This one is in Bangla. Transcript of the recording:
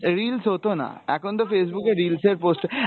reels হতোনা এখন তো Facebook এর reels এর post